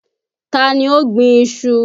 Ta ni ó gbin iṣu?